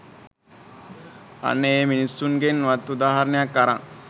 අන්න ඒ මිනිස්සුන්ගෙන් වත් උදාහරණයක් අරන්